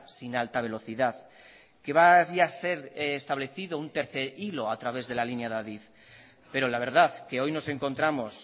sin alta velocidad que vaya a ser establecido un tercer hilo a través de la línea de adif pero la verdad que hoy nos encontramos